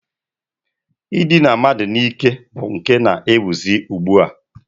I dina mmadụ n'ike bụ nke na-ewuzi ugbua.